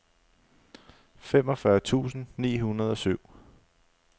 femogfyrre tusind ni hundrede og syv